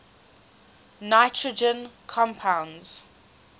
nitrogen compounds